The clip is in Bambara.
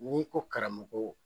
N'i ko karamogo